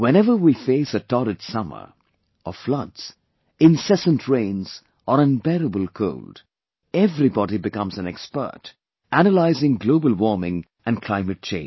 Whenever we face a torrid summer, or floods, incessant rains or unbearable cold, everybody becomes an expert, analyzing global warming and climate change